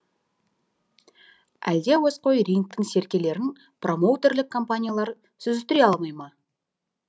әлде әуесқой рингтің серкелерін промоутерлік компаниялар сүзістіре алмай ма